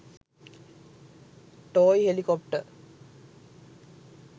toy helicopter